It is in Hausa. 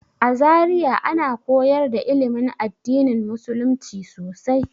A Zariya ana koyar da ilimin addinin musulumci sosai.